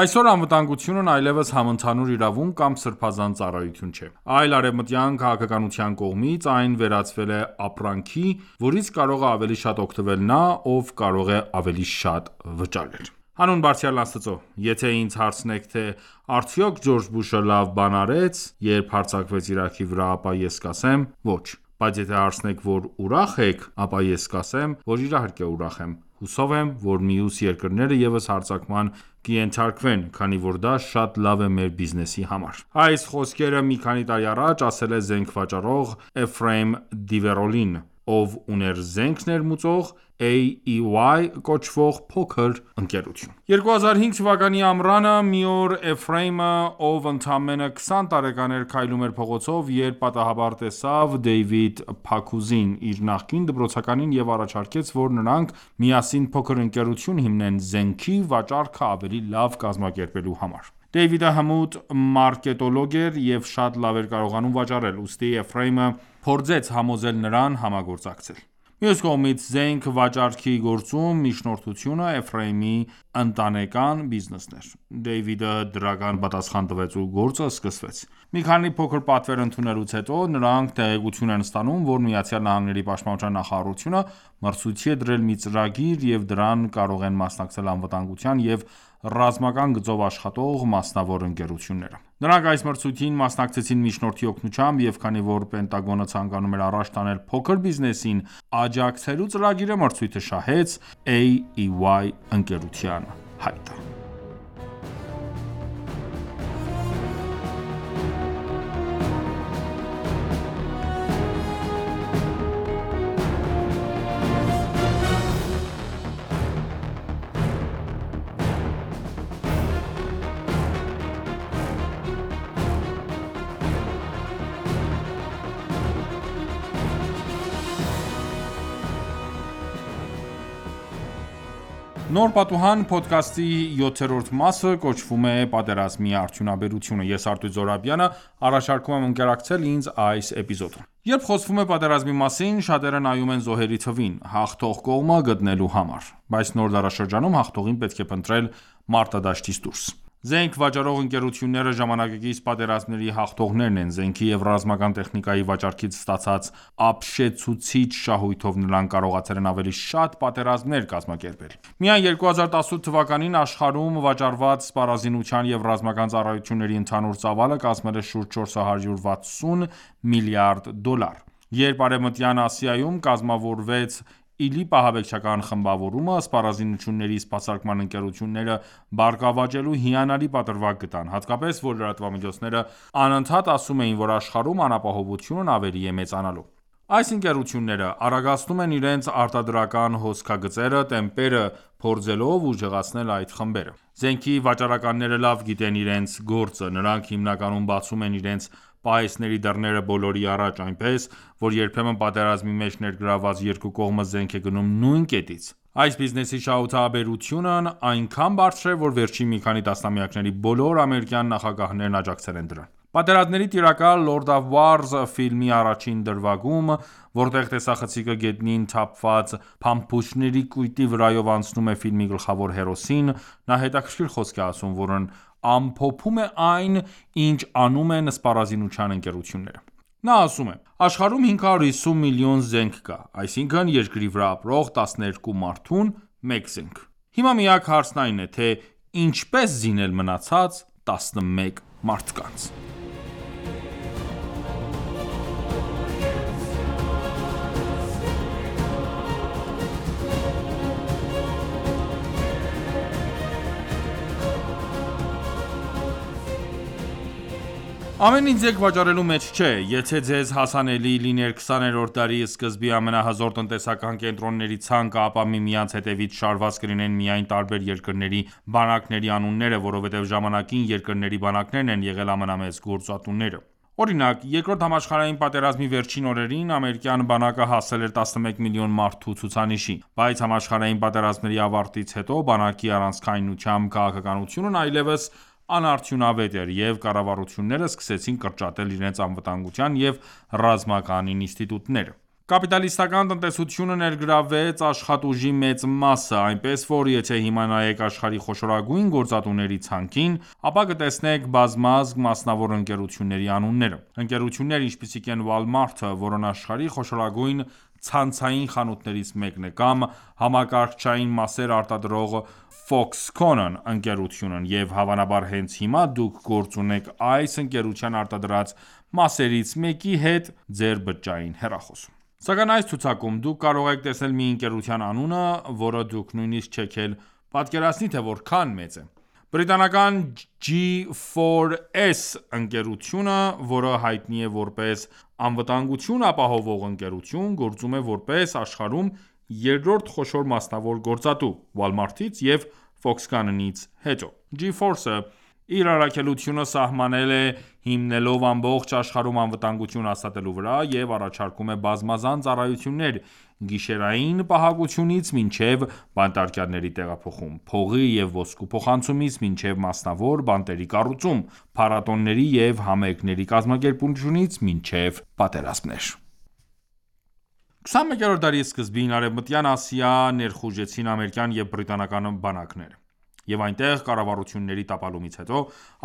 Այսօր անվտանգությունն այլևս համընդհանուր իրավունք կամ սրբազան ծառայություն չէ, այլ արևմտյան քաղաքականության կողմից այն վերածվել է ապրանքի, որից կարող է ավելի շատ օգտվել նա, ով կարող է ավելի շատ վճարել: Հանուն Բարձրյալն Աստծո «Եթե ինձ հարցնեք, թե արդյոք Ջորջ Բուշը լավ բան արե՞ց, երբ հարձակվեց Իրաքի վրա, ապա ես կասեմ՝ ոչ, բայց եթե հարցնեք, որ ուրախ ե՞ք, ապա ես կասեմ, որ իհարկե ուրախ եմ: Հուսով եմ, որ մյուս երկրները ևս հարձակման կենթարկվեն, քանի որ դա շատ լավ է մեր բիզնեսի համար»: Այս խոսքերը մի քանի տարի առաջ ասել է զենք վաճառող Էֆրեյմ Դիվերոլին, ով ուներ զենք ներմուծող, «AEY» կոչվող փոքր ընկերություն։ 2005 թվականի ամռանը մի օր Էֆրեյմը, ով ընդամենը քսան տարեկան էր, քայլում էր փողոցով, երբ պատահաբար տեսավ Դեյվիդ Փաքուզին՝ իր նախկին դպրոցականին, և առաջարկեց, որ նրանք միասին փոքր ընկերություն հիմնեն՝ զենքի վաճառքը ավելի լավ կազմակերպելու համար: Դեյվիդը հմուտ մարկետոլոգ էր և շատ լավ էր կարողանում վաճառել։ Ուստի Էֆրեյմը փորձեց համոզել նրան համագործակցել։ Մյուս կողմից, զենք վաճառքի գործում միջնորդությունը Էֆրեյմի ընտանեկան բիզնեսն էր։ Դեյվիդը դրական պատասխան տվեց, ու գործը սկսվեց։ Մի քանի փոքր պատվեր ընդունելուց հետո նրանք տեղեկություն են ստանում, որ ԱՄՆ֊ի պաշտպանության նախարարությունը մրցույթի է դրել մի ծրագիր, և դրան կարող են մասնակցել անվտանգության և ռազմական գծով աշխատող մասնավոր ընկերությունները։ Նրանք այս մրցույթին մասնակցեցին միջնորդի օգնությամբ, և քանի որ Պենտագոնը ցանկանում էր առաջ տանել փոքր բիզնեսին աջակցելու ծրագիրը, մրցույթը շահեց «AEY» ընկերության հայտը: Երբ խոսվում է պատերազմի մասին, շատերը նայում են զոհերի թվին՝ հաղթող կողմը գտնելու համար, բայց նոր դարաշրջանում, հաղթողին պետք է փնտրել մարտադաշտից դուրս: Զենք վաճառող ընկերությունները ժամանակակից պատերազմների հաղթողներն են. Զենքի և ռազմական տեխնիկայի վաճառքից ստացած ապշեցուցիչ շահույթով նրանք կարողացել են ավելի շատ պատերազմներ կազմակերպել։ Միայն 2018 թվականին աշխարհում վաճառված սպառազինության և ռազմական ծառայությունների ընդհանուր ծավալը կազմել է շուրջ 460 միլիարդ դոլար։ Երբ Արևմտյան Ասիայում կազմավորվեց ԻԼԻՊ ահաբեկչական խմբավորումը, սպառազինությունների սպասարկման ընկերությունները բարգավաճելու հիանալի պատրվակ գտան, հատկապես, որ լրատվամիջոցները անընդհատ ասում էին, որ աշխարհում անապահովությունն ավելի է մեծանալու։ Այս ընկերությունները արագացնում են իրենց արտադրական հոսքագծերի տեմպերը՝ փորձելով ուժեղացնել այդ խմբերը։ Զենքի վաճառականները լավ գիտեն իրենց գործը: Նրանք հիմնականում բացում են իրենց պահեստների դռները բոլորի առաջ, այնպես, որ երբեմն պատերազմի մեջ ներգրավված երկու կողմը զենք է գնում նույն կետից։ Այս բիզնեսի շահութաբերությունն այնքան բարձր է, որ վերջին մի քանի տասնամյակների բոլոր ամերիկյան նախագահներն աջակցել են դրան։ «Պատերազմների տիրակալ» (Lord of Wars) ֆիլմի առաջին դրվագում, որտեղ տեսախցիկը գետնին թափված փամփուշտների կույտի վրայով անցնում է ֆիլմի գլխավոր հերոսին, նա հետաքրքիր խոսք է ասում, որն ամփոփում է այն, ինչ անում են սպառազինության ընկերությունները: Նա ասում է՝ աշխարհում 550 միլիոն զենք կա, այսինքն՝ երկրի վրա ապրող 12 մարդուն մեկ զենք։ Հիմա միակ հարցն այն է, թե ինչպե՞ս զինել մնացած 11 մարդկանց։ Ամեն ինչ զենք վաճառելու մեջ չէ: Եթե ձեզ հասանելի լիներ 20-րդ դարի սկզբի ամենահզոր տնտեսական կենտրոնների ցանկը, ապա միմյանց հետևից շարված կլինեին միայն տարբեր երկրների բանակների անունները, որովհետև ժամանակին երկրների բանակներն են եղել ամենամեծ գործատուները: Օրինակ՝ Երկրորդ համաշխարհային պատերազմի վերջին օրերին ամերիկյան բանակը հասել էր 11 միլիոն մարդու ցուցանիշի։ Բայց համաշխարհային պատերազմների ավարտից հետո բանակի առանցքայնությամբ քաղաքականությունն այլևս անարդյունավետ էր, և կառավարությունները սկսեցին կրճատել իրենց անվտանգության և ռազմական ինստիտուտները։ Կապիտալիստական տնտեսությունը ներգրավեց աշխատուժի մեծ մասը, այնպես որ, եթե հիմա նայեք աշխարհի խոշորագույն գործատուների ցանկին, ապա կտեսնեք բազմազգ մասնավոր ընկերությունների անունները։ Ընկերություններ, ինչպիսիք են Walmart-ը, որն աշխարհի խոշորագույն ցանցային խանութներից մեկն է, կամ համակարգչային մասեր արտադրող «Foxconn» ընկերությունը, և հավանաբար, հենց հիմա դուք գործ ունեք այս ընկերության արտադրած մասերից մեկի հետ ձեր բջջային հեռախոսում: Սակայն այս ցուցակում դուք կարող եք տեսնել մի ընկերության անունը, որը դուք նույնիսկ չեք էլ պատկերացնի, թե որքան մեծ է: Բրիտանական G4S ընկերությունը, որը հայտնի է որպես անվտանգություն ապահովող ընկերություն, գործում է որպես աշխարհում երրորդ խոշոր մասնավոր գործատու՝ Walmart-ից և Foxconn-ից հետո։ G4S-ը իր առաքելությունը սահմանել է՝ հիմնվելով ամբողջ աշխարհում անվտանգություն հաստատելու վրա, և առաջարկում է բազմազան ծառայություններ՝ գիշերային պահակությունից մինչև բանտարկյալների տեղափոխում, փողի և ոսկու փոխանցումից մինչև մասնավոր բանտերի կառուցում, փառատոների և համերգների կազմակերպումից մինչև պատերազմներ։ 21-րդ դարի սկզբին Արեւմտյան Ասիա ներխուժեցին ամերիկյան եւ բրիտանական բանակները, և այնտեղ կառավարությունների տապալումից հետո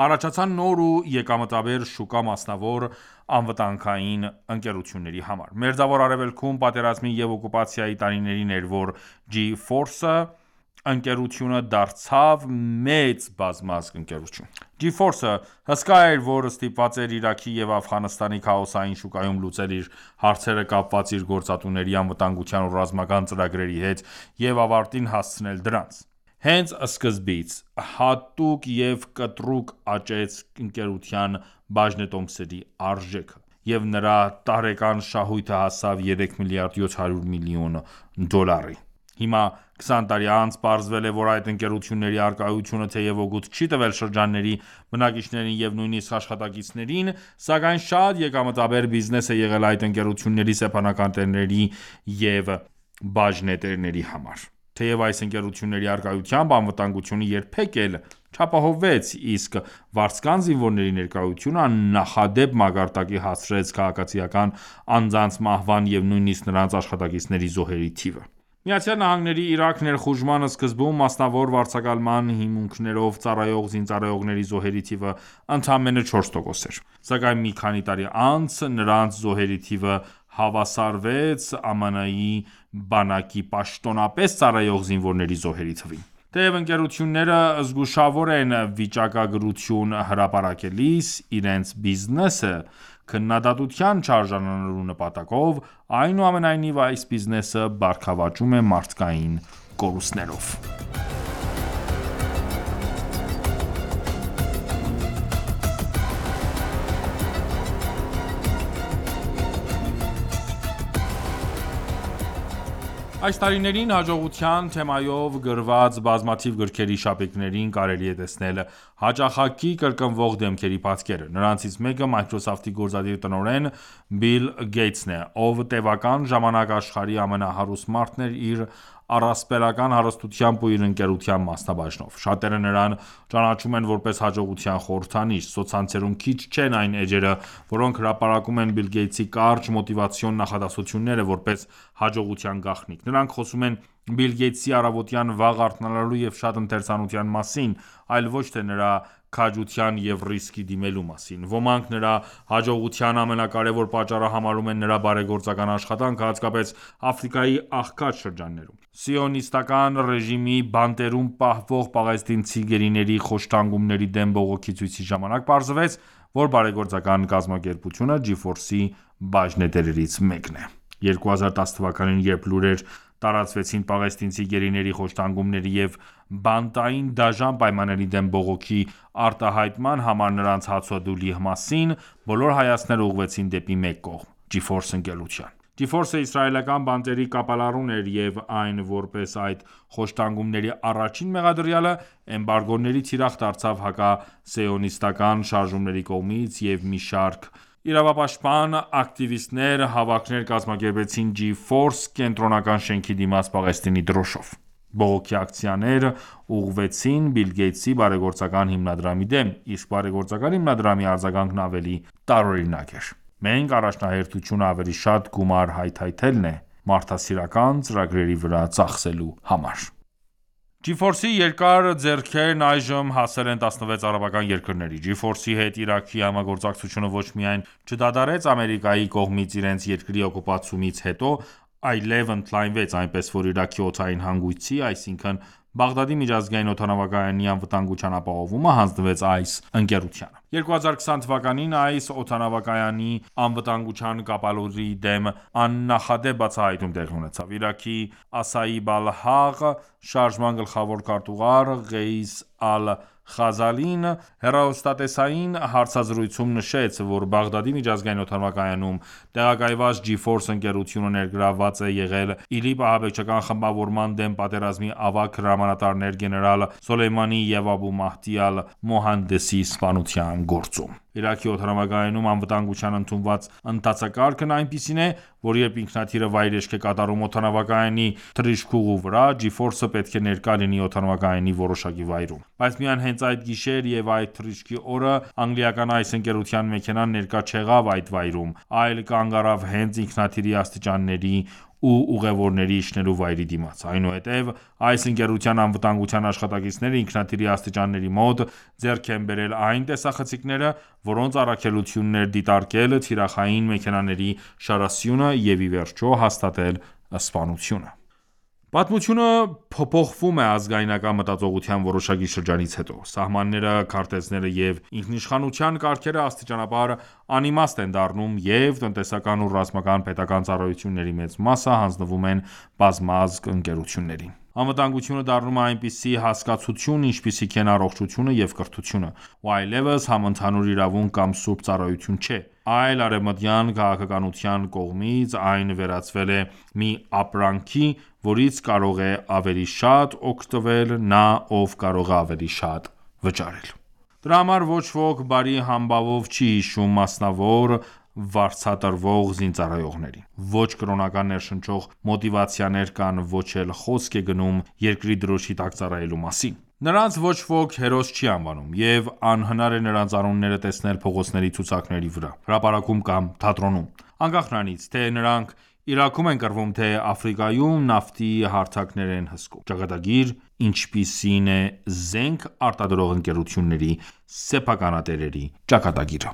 առաջացան նոր ու եկամտաբեր շուկա մասնավոր անվտանգային ընկերությունների համար։ Մերձավոր Արևելքում պատերազմի և օկուպացիայի տարիներին էր, որ G4S ընկերությունը դարձավ մեծ բազմազգ ընկերություն: G4S-ը հսկա էր, որը ստիպված էր Իրաքի և Աֆղանստանի քաոսային շուկայում լուծել իր հարցերը կապված իր գործատուների անվտանգության ու ռազմական ծրագրերի հետ և ավարտին հասցնել դրանք։ Հենց սկզբից կտրուկ աճեց ընկերության բաժնետոմսերի արժեքը, և նրա տարեկան շահույթը հասավ 3 միլիարդ 700 միլիոն դոլարի: Հիմա, քսան տարի անց, պարզվել է, որ այդ ընկերությունների առկայությունը, թեև օգուտ չի տվել շրջանների բնակիչներին և նույնիսկ աշխատակիցներին, սակայն շատ եկամտաբեր բիզնես է եղել այդ ընկերությունների սեփականատերերի ու բաժնետերերի համար, թեև այս ընկերությունների առկայությամբ անվտանգությունը երբեք էլ չապահովվեց, իսկ վարձկան զինվորների ներկայությունը աննախադեպ մակարդակի հասցրեց քաղաքացիական անձանց մահվան և նույնիսկ նրանց աշխատակիցների զոհերի թիվը։ ԱՄՆ-ի Իրաք ներխուժման սկզբում մասնավոր վարձակալման հիմունքներով ծառայող զինծառայողների զոհերի թիվը ընդամենը 4% էր, սակայն մի քանի տարի անց նրանց զոհերի թիվը հավասարվեց ԱՄՆ բանակի պաշտոնապես ծառայող զինվորների զոհերի թվին։ Թեև ընկերությունները զգուշավոր են վիճակագրություն հրապարակելիս՝ իրենց բիզնեսը քննադատության չարժանանալու նպատակով, այնուամենայնիվ, այս բիզնեսը բարգավաճում է մարդկային կորուստներով։ Այս տարիներին հաջողության թեմայով գրված բազմաթիվ գրքերի շապիկներին կարելի է տեսնել հաճախակի կրկնվող դեմքերի պատկերը։ Նրանցից մեկը Microsoft-ի գործադիր տնօրեն Բիլ Գեյթսն է, ով տևական ժամանակ աշխարհի ամենահարուստ մարդն էր իր առապելական հարստությամբ ու իր ընկերության մասնաբաժնով։ Շատերը նրան ճանաչում են որպես հաջողության խորհրդանիշ։ Սոցցանցերում քիչ չեն այն էջերը, որոնք հրապարակում են Բիլ Գեյթսի կարճ մոտիվացիոն նախադասությունները՝ որպես հաջողության գաղտնիք։ Նրանք խոսում են Բիլ Գեյթսի առավոտյան վաղ արթնանալու և շատ ընթերցանության մասին, այլ ոչ թե նրա քաջության և ռիսկի դիմելու մասին: Ոմանք նրա հաջողության ամենակարեւոր պատճառը համարում են նրա բարեգործական աշխատանքը, հատկապես Աֆրիկայի աղքատ շրջաններում: Սիոնիստական ռեժիմի բանտերում պահվող պաղեստինցի գերիների խոշտանգումների դեմ բողոքի ցույցի ժամանակ պարզվեց, որ բարեգործական կազմակերպությունը G4S-ի բաժնետերերից մեկն է։ 2010 թվականին, երբ լուրեր տարածվեցին պաղեստինցի գերիների խոշտանգումների և բանտային դաժան պայմանների դեմ բողոքի արտահայտման համար նրանց հացադուլի մասին, բոլոր հայացքները ուղղվեցին դեպի մեկ կողմ՝ G4S ընկերության: G4S-ը իսրայելական բանտերի կապալառուն էր և այն որպես այդ խոշտանգումների առաջին մեղադրյալը, էմբարգոների թիրախ դարձավ հակասիոնիստական շարժումների կողմից և մի շարք իրավապաշտպան ակտիվիստներ հավաքներ կազմակերպեցին G4S կենտրոնական շենքի դիմաց Պաղեստինի դրոշով: Բողոքի ակցիաներ ուղղվեցին Բիլ Գեյթսի բարեգործական հիմնադրամի դեմ, իսկ բարեգործական հիմնադրամի արձագանքն ավելի տարօրինակ էր.-« Մեր առաջնահերթությունը ավելի շատ գումար հայթհայթելն է մարդասիրական ծրագրերի վրա ծախսելու համար»։ G4S-ի երկար ձեռքերն այժմ հասել են 16 արաբական երկրների: G4S-ի հետ Իրաքի համագործակցությունը ոչ միայն չդադարեց Ամերիկայի կողմից իրենց երկրի օկուպացումից հետո, այլև ընդլայնվեց, այնպես որ Իրաքի օդային հանգույցի, այսինքն՝ Բաղդադի միջազգային օդանավակայանի անվտանգության ապահովումը հանձնվեց այս ընկերությանը։ 2020 թվականին այս օդանավակայանի անվտանգության կապալառուի դեմ աննախադեպ բացահայտում տեղի ունեցավ։ Իրաքի «Ասաիբ ալ-Հաղ» (Asa’ib al_haq) շարժման գլխավոր քարտուղար Ղեյիս Ալ-Խազալին (Qais Al-khazali) հեռուստատեսային հարցազրույցում նշել է, որ Բաղդադի միջազգային օդանավակայանում տեղակայված G4S ընկերությունը ներգրավված է եղել ԻԼԻՊ ահաբեկչական խմբավորման դեմ պատերազմի ավագ հրամանատարներ գեներալ Սոլեյմանիի և Աբու Մահդի Ալ-Մուհանդեսի սպանության գործում։ Իրաքի օդանավակայանում անվտանգության ընդունված ընթացակարգն այնպիսին է, որ երբ ինքնաթիռը վայրէջք է կատարում օդանավակայանի թռիչքուղու վրա, G4S-ը պետք է ներկա լինի օդանավակայանի որոշակի վայրում: Բայց միայն հենց այդ գիշեր և այդ թռիչքի օրը անգլիական այս ընկերության մեքենան ներկա չեղավ այդ վայրում, այլ կանգ առավ հենց ինքնաթիռի աստիճանների ու ուղեւորների իջնելու վայրի դիմաց։ Այնուհետև այս ընկերության անվտանգության աշխատակիցները ինքնաթիռի աստիճանների մոտ ձեռք են բերել այն տեսախցիկները, որոնց առաքելությունն էր դիտարկել թիրախային մեքենաների շարասյունը և ի վերջո հաստատել սպանությունը։ Պատմությունը փոփոխվում է ազգայնական մտածողության որոշակի շրջանից հետո։ Սահմանները, քարտեզները և ինքնիշխանության կարգերը աստիճանաբար անիմաստ են դառնում, և տնտեսական ու ռազմական պետական ծառայությունների մեծ մասը հանձնվում են բազմազգ ընկերություններին: Անվտանգությունը դառնում է այնպիսի հասկացություն, ինչպիսիք են առողջությունը և կրթությունը, ու այլևս համընդհանուր իրավունք կամ սուրբ ծառայություն չէ, այլ արևմտյան քաղաքականության կողմից այն վերածվել է մի ապրանքի, որից կարող է ավելի շատ օգտվել նա, ով կարող է ավելի շատ վճարել: Դրա համար ոչ ոք բարի համբավով չի հիշում մասնավոր վարձատրվող զինծառայողներին։ Ոչ՚ Կրոնական ներշնչող մոտիվացիներ կան, ոչ՚ էլ խոսք է գնում երկրի դրոշի տակ ծառայելու մասին: Նրանց ոչ ոք հերոս չի անվանում, և անհնար է նրանց անունները տեսնել փողոցների ցուցանակների վրա, հրապարակում կամ թատրոնում, անկախ նրանից, թե նրանք Իրաքում են կռվում, թե Աֆրիկայում նավթի հարթակներ են հսկում։ Ճակատագիր, ինչպիսին է զենք արտադրող ընկերությունների սեփականատերերի ճակատագիրը։